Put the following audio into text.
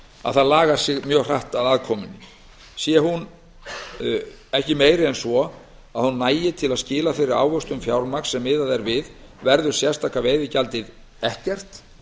að það lagar sig mjög hratt að afkomunni sé hún ekki meiri en svo að hún nægi til að skila þeirri ávöxtun fjármagns sem miðað er við verður sérstaka veiðigjaldið ekkert